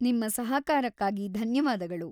ನಿಮ್ಮ ಸಹಕಾರಕ್ಕಾಗಿ ಧನ್ಯವಾದಗಳು.